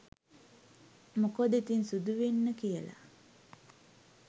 මොකද ඉතින් සුදු වෙන්න කියල